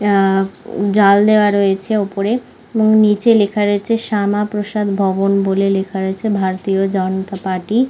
আ আ জাল দেওয়া রয়েছে ওপরেএবং নিচে লেখা রয়েছে শ্যামাপ্রসাদ ভবন বলে লেখা রয়েছে ভারতীয় জনতা পার্টি।